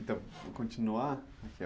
Então, vou continuar.